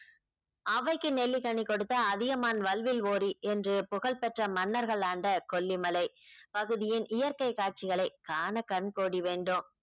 ஔவைக்கு நெல்லிக்கனி கொடுத்த அதியமான் வல்வில் ஓரி என்று புகழ் பெற்ற மன்னர்கள் ஆண்ட கொல்லிமலை பகுதியின் இயற்கை காட்சிகளை காண கண் கோடி வேண்டும்